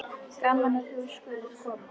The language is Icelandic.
Gaman að þú skyldir koma.